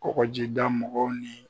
Kɔkɔjida mɔgɔw ni